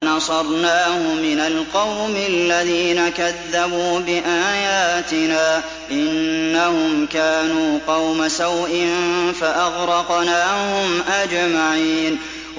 وَنَصَرْنَاهُ مِنَ الْقَوْمِ الَّذِينَ كَذَّبُوا بِآيَاتِنَا ۚ إِنَّهُمْ كَانُوا قَوْمَ سَوْءٍ فَأَغْرَقْنَاهُمْ أَجْمَعِينَ